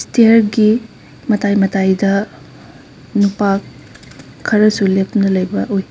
ꯁ꯭ꯇꯤꯌ꯭ꯔꯒꯤ ꯃꯇꯥꯏ ꯃꯇꯥꯏꯗ ꯅꯨꯄꯥ ꯈꯔꯁꯨ ꯂꯦꯞꯇꯨꯅ ꯂꯩꯕ ꯎꯏ꯫